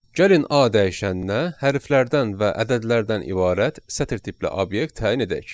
Gəlin A dəyişəninə hərflərdən və ədədlərdən ibarət sətir tipli obyekt təyin edək.